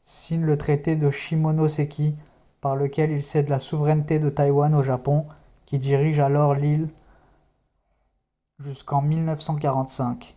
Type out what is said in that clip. signe le traité de shimonoseki par lequel il cède la souveraineté de taïwan au japon qui dirige alors l'île jusqu'en 1945